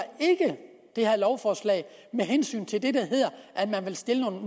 det her lovforslag med hensyn til det der hedder at man vil stille